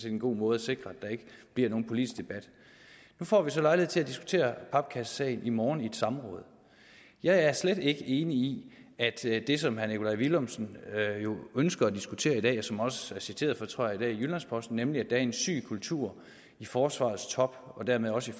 en god måde at sikre at der ikke bliver nogen politisk debat nu får vi så lejlighed til at diskutere papkassesagen i morgen i et samråd jeg er slet ikke enig i det som herre nikolaj villumsen ønsker at diskutere i dag og som han også er citeret for tror jeg i dag i jyllands posten nemlig at der er en syg kultur i forsvarets top og dermed også